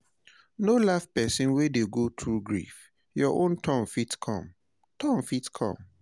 No laugh person wey dey go through grief, your own turn fit come turn fit come